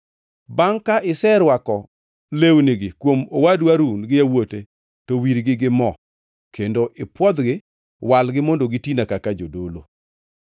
Bangʼ ka iserwako lewnigi kuom owadu Harun gi yawuote, to wirgi gi mo kendo ipwodhgi. Walgi mondo gitina kaka jodolo.